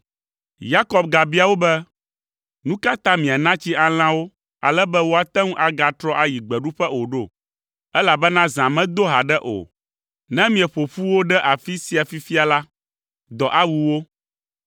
Yakob gabia wo be, “Nu ka ta miana tsi alẽawo ale be woate ŋu agatrɔ ayi gbeɖuƒe o ɖo? Elabena zã medo haɖe o; ne mieƒo ƒu wo ɖe afi sia fifia la, dɔ awu wo.”